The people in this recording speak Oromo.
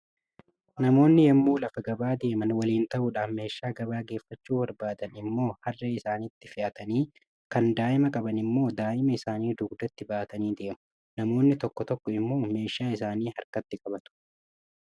Namoonni yommuu lafa gabaa deeman waliin ta'uudhaan, meeshaa gabaa geeffachuu barbaadan immoo harree isaaniitti fe'atanii, kan daa'ima qaban immoo daa'ima isaanii dugdatti baatanii deemu. Namoonni tokko tokko immoo meeshaa isaanii harkatti qabatu.